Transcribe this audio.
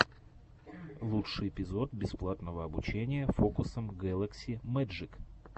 лучший эпизод бесплатного обучения фокусам гэлакси мэджик